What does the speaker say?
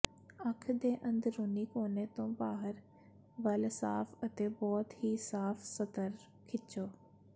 ਅੱਖ ਦੇ ਅੰਦਰੂਨੀ ਕੋਨੇ ਤੋਂ ਬਾਹਰ ਵੱਲ ਸਾਫ ਅਤੇ ਬਹੁਤ ਹੀ ਸਾਫ ਸਤਰ ਖਿੱਚੋ